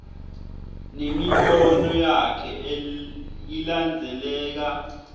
nemibono yakhe ilandzeleka